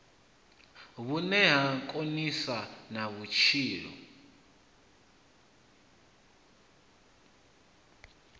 vhune ha konisa na vhutshilo